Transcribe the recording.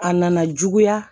A nana juguya